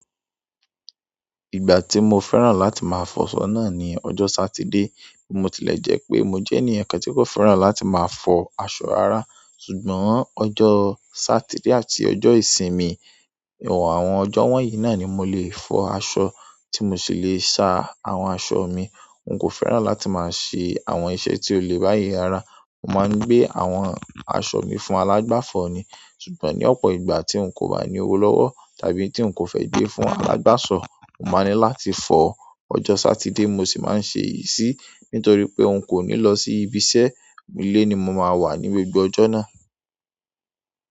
Ìgbà tí mo fẹ́ràn láti máa fọṣọ náà ni ọjọ́ Sátidé. Mo tilẹ̀ jẹ́ pé mo jẹ́ ènìyàn kan tí kò fẹ́ràn láti máa fọ aṣọ rara, ṣùgbọ́n ọjọ́ Sátidé àti ọjọ́ ìsinmi, àwọn ọjọ́ wọ́nyí náà ni mo lè fọ aṣọ tí mo sì le sa àwọn aṣọ mi. N kò fẹ́ràn láti máa ṣe àwọn iṣẹ́ tí ó le báyi rara. Mo máa ń gbé àwọn aṣọ mi fún alágbàfọ ni. Ṣùgbọ́n ní ọ̀pọ̀ ìgbà tí n kò bá ní owó lọ́wọ́ tàbí tí n kò fẹ́ gbé fún alágbàsọ, mo máa ní láti fọ. Ọjọ́ Sátidé mo sì máa ń ṣe yìí sí, nítorí pé n kò ní lọ sí ibi iṣẹ́, ilé ni mo máa wà ní gbogbo ọjọ́ náà.